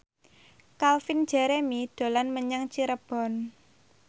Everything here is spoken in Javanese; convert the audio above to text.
Calvin Jeremy dolan menyang Cirebon